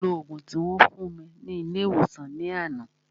Mo lo ògùn tí wón fún mi ní ilé ìwòsàn ní àná